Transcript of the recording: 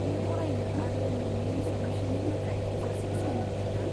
नों फरायनो आरो नोंनि साबमिसननि थाखाय थोजासे सम मोनदों ना?